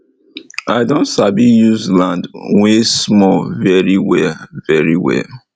i don sabi use land wey small very well very well